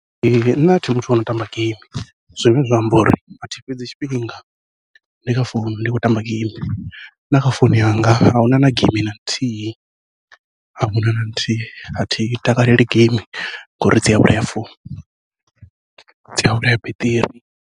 Nṋe athi muthu ano tamba geimi, zwine zwa amba uri athi fhedzi tshifhinga ndi kha founu ndi khou tamba geimi, na kha founu yanga ahuna na geimi na nthihi ahuna na nthihi athi takaleli geimi ngori dzi a vhulaya founu dzi a vhulaya beṱiri.